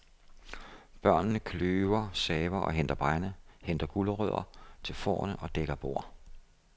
Børnene kløver, saver og henter brænde, henter gulerødder til fårene og dækker bord.